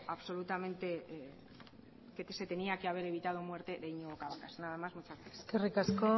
que se tenía que haber evitado la muerte de iñigo cabacas nada más muchas gracias eskerrik asko